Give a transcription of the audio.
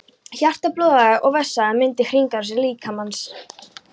Hjarta, blóðæðar og vessaæðar mynda hringrásarkerfi líkamans.